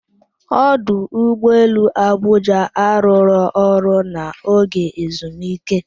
Ọdụụgbọ elu Abụjạ a rụrụ ọrụ n'oge ezumike?